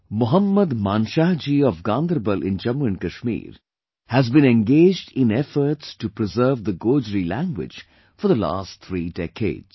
Mohammad Manshah ji of Ganderbal in Jammu and Kashmir has been engaged in efforts to preserve the Gojri language for the last three decades